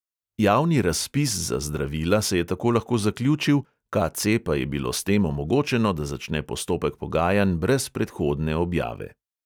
Javni razpis za zdravila se je tako lahko zaključil, KC pa je bilo s tem omogočeno, da začne postopek pogajanj brez predhodne objave.